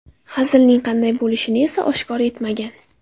Hazilning qanday bo‘lishini esa oshkor etmagan.